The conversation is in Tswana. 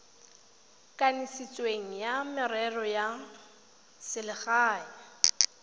kanisitsweng wa merero ya selegae